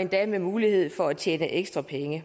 endda med mulighed for at tjene ekstra penge